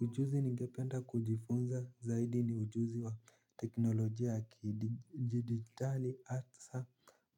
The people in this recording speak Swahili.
Ujuzi ningependa kujifunza zaidi ni ujuzi wa teknolojia ya kidigitali asa